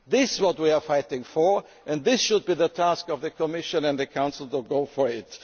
incomes. This is what we are fighting for, and it should be the task of the Commission and the Council to